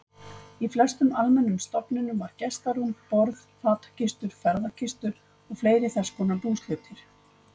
Í flestum almennum stofum var gestarúm, borð, fatakistur, ferðakistur og fleiri þess konar búshlutir.